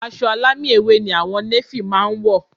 Aṣọ alámì ewé ni àwọn néfì máa wọ̀